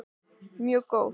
Mjög góð